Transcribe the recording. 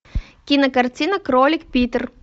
кинокартина кролик питер